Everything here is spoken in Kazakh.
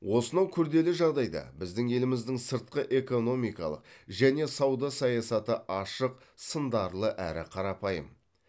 осынау күрделі жағдайда біздің еліміздің сыртқы экономикалық және сауда саясаты ашық сындарлы әрі қарапайым